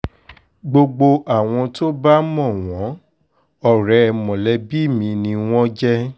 gbogbo àwọn tó bá mọ̀ wọ́n ọ̀rẹ́ mọ̀lẹ́bí mi ni wọ́n jẹ́